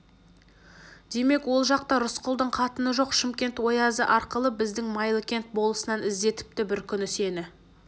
демек ол жақта рысқұлдың қатыны жоқ шымкент оязы арқылы біздің майлыкент болысынан іздетіпті бір күні сені